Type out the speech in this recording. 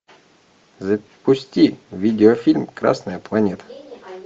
запусти видео фильм красная планета